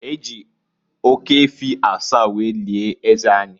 E ji oke efi asaa were lie eze anyị.